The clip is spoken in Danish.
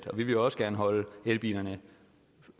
og vi vil jo også gerne holde elbilerne